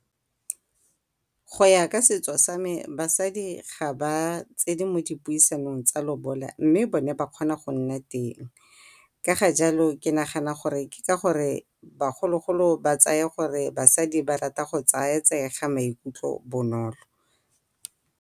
Go ya ka setso sa me basadi ga ba tsene o dipuisanong tsa lobola mme bone ba kgona go nna teng, ka ga jalo ke nagana gore ke ka gore bagolo-golo ba tsaya gore basadi ba rata go tsayatsega ga maikutlo bonolo.